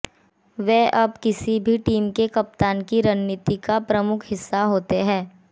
वे अब किसी भी टीम के कप्तान की रणनीति का प्रमुख हिस्सा होते हैं